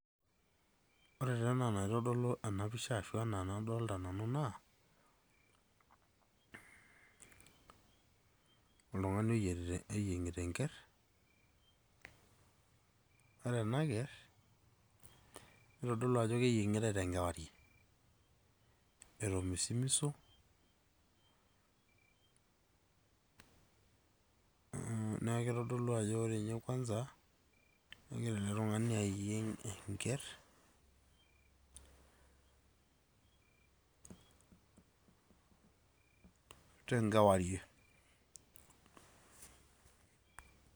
Ore taa enaa naitodolu ena picha ashu anaa enadolita nanu naa, oltung'ani oyierita oyieng'ita enker. Ore ena ker neitodolua ajo keying'itai te nkewarie. Etomisimiso, neaku eitodolu ajo ore ninye kwanza, kegira ele tung'ani ayieng' enker te nkewarie.